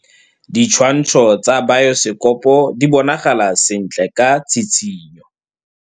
Ditshwantshô tsa biosekopo di bonagala sentle ka tshitshinyô.